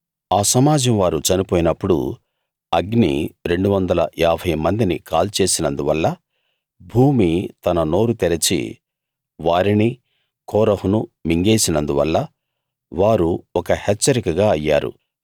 ఆ సమాజం వారు చనిపోయినప్పుడు అగ్ని 250 మందిని కాల్చేసినందువల్ల భూమి తన నోరు తెరచి వారిని కోరహును మింగేసినందువల్ల వారు ఒక హెచ్చరికగా అయ్యారు